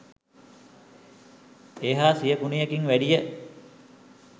ඒ හා සිය ගුණයකින් වැඩිය.